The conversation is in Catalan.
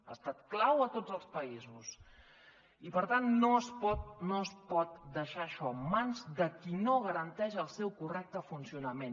ha estat clau a tots els països i per tant no es pot no es pot deixar això en mans de qui no garanteix el seu correcte funcionament